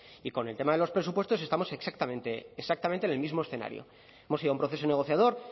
y con el tema de los presupuestos estamos exactamente en el mismo escenario hemos ido a un proceso negociador